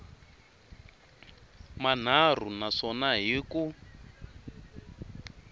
manharhu na swona hi ku